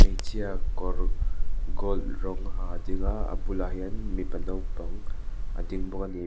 hmeichhia kawr gold rawng ha a ding a a bulah hian mipa naupang a ding bawk a ni mi --